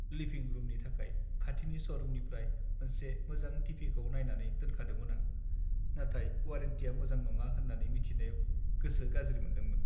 लिभिं रुमनि थाखाय खाथिनि श'रुमनिफ्राय मोनसे मोजां टि.भि.खौ नायनानै दोनखादोंमोन आं, नाथाय वारेन्टिया मोजां नङा होन्नानै मिथिनायाव गोसो गाज्रि मोनदोंमोन।